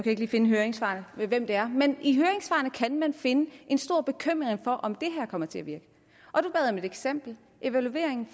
ikke lige finde i høringssvarene hvem det er men i høringssvarene kan man finde en stor bekymring for om det her kommer til at virke og et eksempel i evalueringen